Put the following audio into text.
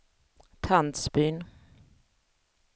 Tandsbyn